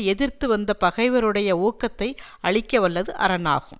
எதிர்த்துவந்த பகைவருடைய ஊக்கத்தை அழிக்க வல்லது அரண் ஆகும்